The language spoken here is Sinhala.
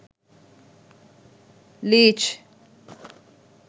leech